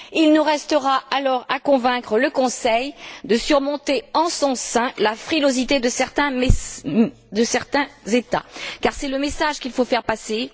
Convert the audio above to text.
Il nous restera alors à convaincre le Conseil de surmonter en son sein la frilosité de certains États, car c'est le message qu'il faut faire passer.